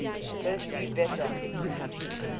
persei beta